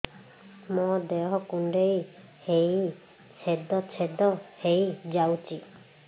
ମୋ ଦେହ କୁଣ୍ଡେଇ ହେଇ ଛେଦ ଛେଦ ହେଇ ଯାଉଛି